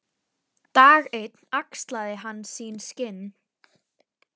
Dag einn axlaði hann sín skinn.